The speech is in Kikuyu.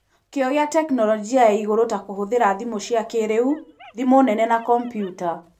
Kĩo gĩa tekinoronjĩ ya igũrũ ta kũhũthĩra thimũ cia kĩrĩu, thimũ nene na kombiuta.